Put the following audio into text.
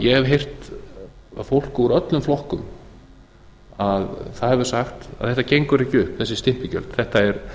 ég hef heyrt að fólk úr öllum flokkum hefur sagt þetta gengur ekki upp þessi stimpilgjöld þetta er